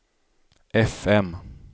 fm